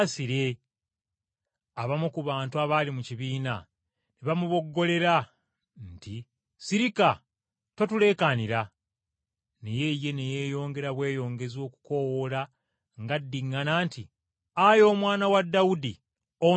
Abamu ku bantu abaali mu kibiina ne bamuboggolera nti, “Sirika! Totuleekaanira!” Naye ye ne yeeyongera bweyongezi okukoowoola ng’addiŋŋana nti, “Ayi Omwana wa Dawudi, onsaasire!”